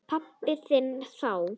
Pabba þinn þá.